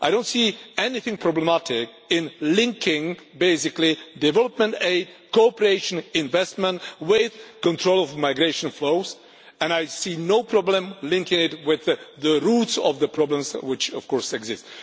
I do not see anything problematic in linking, basically, development aid, cooperation investment with control of migration flows, and I see no problem in linking it with the root of the problems which, of course, exist.